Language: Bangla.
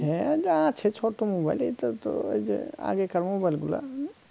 হ্যা তা আছে ছোট mobile এটা তো ঐযে আগেকার mobile গুলা